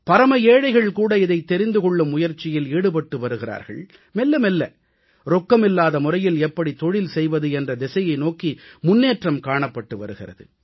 பரம ஏழைகள் கூட இதைத் தெரிந்து கொள்ளும் முயற்சியில் ஈடுபட்டு வருகிறார்கள் மெல்ல மெல்ல ரொக்கமில்லாத முறையில் எப்படித் தொழில் செய்வது என்ற திசையை நோக்கி முன்னேற்றம் காணப்பட்டு வருகிறது